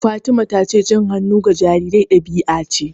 Fatima ta ce cin hannu ga jarirai ɗabi'a ce.